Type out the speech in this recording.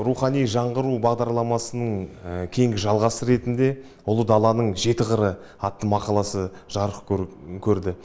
рухани жаңғыру бағдарламасының кейінгі жалғасы ретінде ұлы даланың жеті қыры атты мақаласы жарық көрді